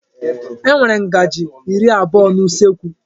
E nwere ngaji iri abụọ n'usekwu.